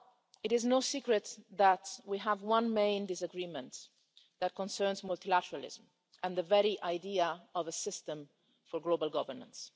It is no secret that we have one main disagreement, which concerns multilateralism and the very idea of a system for global governance.